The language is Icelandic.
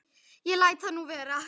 Ég læt það nú vera.